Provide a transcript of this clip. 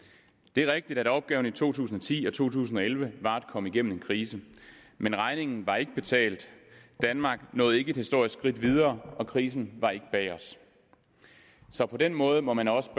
det er rigtigt at opgaverne i to tusind og ti og to tusind og elleve var at komme igennem en krise men regningen var ikke betalt danmark nåede ikke et historisk skridt videre og krisen var ikke bag os så på den måde må man også